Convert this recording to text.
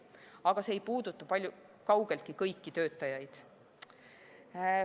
Aga see ei puuduta kaugeltki kõiki töötajaid.